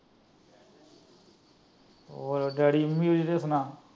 ਹੋਰ daddy mummy ਸੁਣਾ।